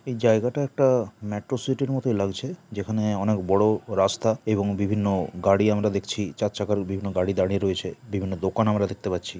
এই জায়গাটা একটা মেট্রোসিটি -র মতো লাগছে যেখানে অনেক বড় রাস্তা এবং বিভিন্ন গাড়ি আমরা দেখছি চার চাকার বিভিন্ন গাড়ি দাঁড়িয়ে রয়েছে বিভিন্ন দোকান আমরা দেখতে পাচ্ছি।